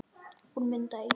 Hún Munda í